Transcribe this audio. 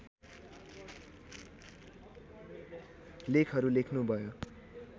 लेखहरू लेख्नु भयो